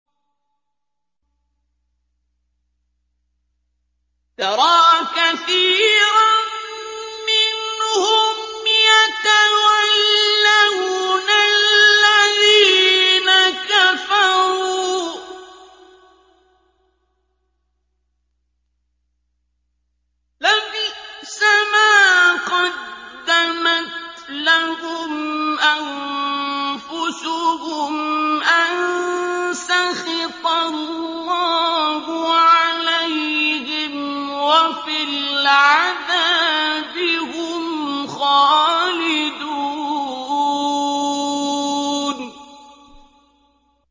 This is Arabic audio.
تَرَىٰ كَثِيرًا مِّنْهُمْ يَتَوَلَّوْنَ الَّذِينَ كَفَرُوا ۚ لَبِئْسَ مَا قَدَّمَتْ لَهُمْ أَنفُسُهُمْ أَن سَخِطَ اللَّهُ عَلَيْهِمْ وَفِي الْعَذَابِ هُمْ خَالِدُونَ